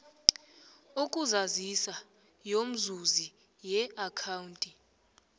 yokuzazisa yomzuzi yeakhawunti